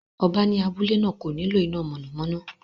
Ọba ní abúlé náà kò nílò iná mọ̀nàmọ́ná